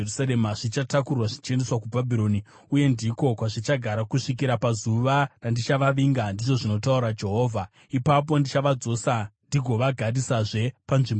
‘Zvichatakurwa zvichiendeswa kuBhabhironi uye ndiko kwazvichagara kusvikira pazuva randichavavinga,’ ndizvo zvinotaura Jehovha. ‘Ipapo ndichavadzosa ndigovagarisazve panzvimbo ino.’ ”